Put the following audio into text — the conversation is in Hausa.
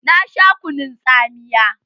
Na sha kunun tsamiya.